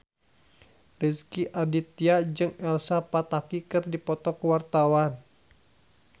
Rezky Aditya jeung Elsa Pataky keur dipoto ku wartawan